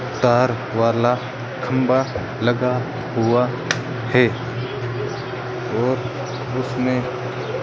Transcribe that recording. तार वाला खंभा लगा हुआ है और उसमें --